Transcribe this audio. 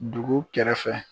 Dugu kɛrɛfɛ.